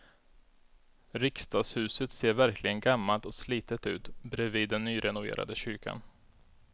Riksdagshuset ser verkligen gammalt och slitet ut bredvid den nyrenoverade kyrkan.